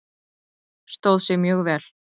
Stóð sig mjög vel.